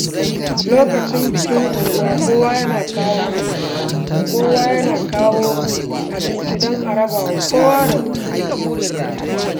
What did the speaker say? Lokacin bikin unguwa, kowa yana kawo abinci don a raba ga kowa da kowa.